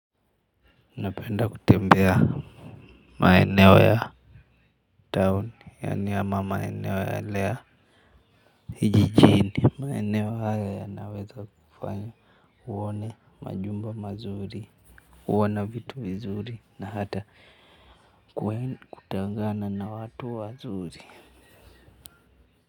Napenda kutembea maeneo ya town, yaani ama maeneo yale ya kijijini, maeneo haya yanaweza kufanya uone majumba mazuri kuona vitu vizuri na hata kutangana na watu wazuri.